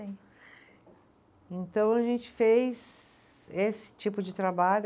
Então a gente fez esse tipo de trabalho.